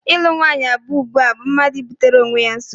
Ịlụ nwaanyị abụọ ugbua bụ mmadụ ibutere onwe ya nsogbu.